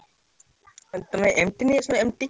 ଆଉ ତମେ,